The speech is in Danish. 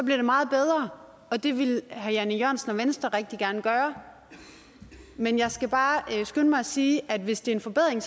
det meget bedre og det ville herre jan e jørgensen og venstre rigtig gerne gøre med jeg skal bare skynde mig at sige at hvis det er en forbedring